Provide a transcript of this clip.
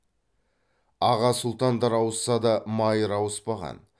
аға сұлтандар ауысса да майыр ауыспаған